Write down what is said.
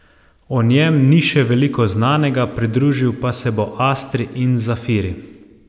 O njem ni še veliko znanega, pridružil pa se bo astri in zafiri.